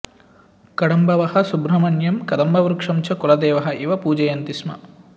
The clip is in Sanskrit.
कडम्बवः सुब्रह्मण्यं कदम्बवृक्षं च कुलदेवः इव पूजयन्ति स्म